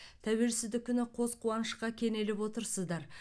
тәуелсіздік күні қос қуанышқа кенеліп отырсыздар